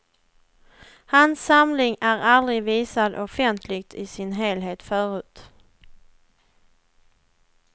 Hans samling är aldrig visad offentligt i sin helhet förut.